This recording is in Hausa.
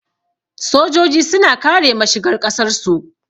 Sojoji suna kare mashigar ƙasar su